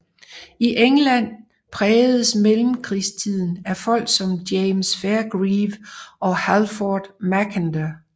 I England prægedes mellemkrigstiden af folk som James Fairgrieve og Halford Mackinder